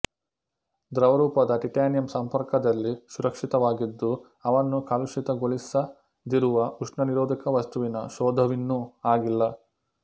ದ್ರವರೂಪದ ಟಿಟ್ಯಾನಿಯಂ ಸಂಪರ್ಕದಲ್ಲಿ ಸುರಕ್ಷಿತವಾಗಿದ್ದು ಅವನ್ನು ಕಲುಷಿತಗೊಳಿಸದಿರುವ ಉಷ್ಣನಿರೋಧಕ ವಸ್ತುವಿನ ಶೋಧವಿನ್ನೂ ಆಗಿಲ್ಲ